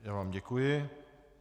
Já vám děkuji.